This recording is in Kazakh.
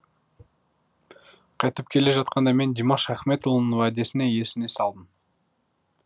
қайтып келе жатқанда мен димаш ахметұлының уәдесін есіне салдым